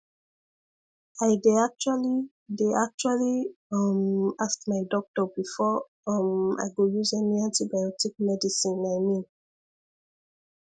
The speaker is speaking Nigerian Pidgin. i dey actually dey actually um ask my doctor before um i go use any antibiotic medicine i mean